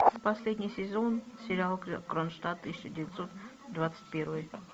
последний сезон сериал кронштадт тысяча девятьсот двадцать первый